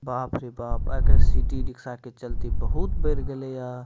बाप बाप रे बाप आय काएल ते सिटी रिक्शा के चलती बहुत बढ़ गेले ये।